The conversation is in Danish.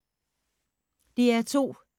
DR2